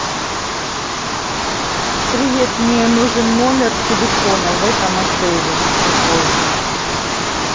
привет мне нужен номер телефона в этом отеле какой